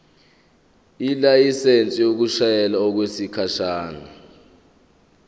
ilayisensi yokushayela okwesikhashana